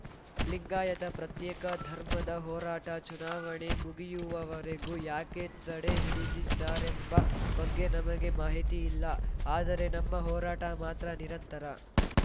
ಲಿಂಗಾಯತ ಪ್ರತ್ಯೇಕ ಧರ್ಮದ ಹೋರಾಟ ಚುನಾವಣೆ ಮುಗಿಯುವವರೆಗೂ ಯಾಕೆ ತಡೆ ಹಿಡಿದಿದ್ದಾರೆಂಬ ಬಗ್ಗೆ ನಮಗೆ ಮಾಹಿತಿ ಇಲ್ಲ ಆದರೆ ನಮ್ಮ ಹೋರಾಟ ಮಾತ್ರ ನಿರಂತರ